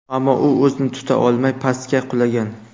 Ammo u o‘zini tuta olmay, pastga qulagan.